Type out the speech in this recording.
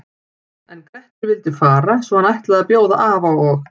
En Grettir vildi fara svo hann ætlaði að bjóða afa og